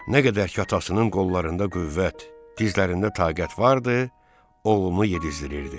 Nə qədər ki atasının qollarında qüvvət, dizlərində taqət vardı, oğlunu yedizdirirdi.